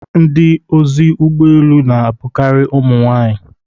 Ndi ozi ụgbọ elu na-abụkarị ụmụ nwanyị